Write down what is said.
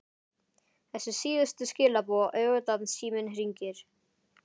Þessi síðustu skilaboð auðvitað- Síminn hringir.